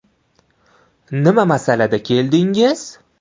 Nima masalada keldingiz?